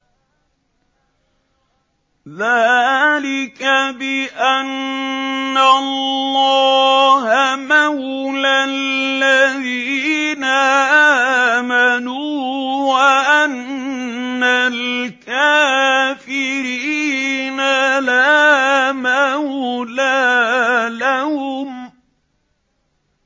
ذَٰلِكَ بِأَنَّ اللَّهَ مَوْلَى الَّذِينَ آمَنُوا وَأَنَّ الْكَافِرِينَ لَا مَوْلَىٰ لَهُمْ